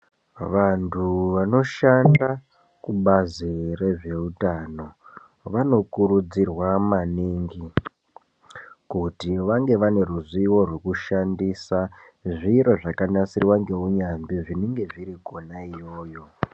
Vantu vanoshanda kubazi rezveutano vanokurudzirwa maningi kuti vange vane ruzivo rwekushandisa zviro zvakanasirwa ngeunyambi zvinenge zviri kona iyoyo .